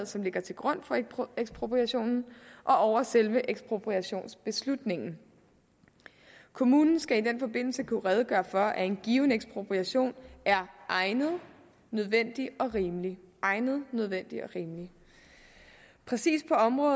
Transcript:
som ligger til grund for ekspropriationen og over selve ekspropriationsbeslutningen kommunen skal i den forbindelse kunne redegøre for at en given ekspropriation er egnet nødvendig og rimelig egnet nødvendig og rimelig praksis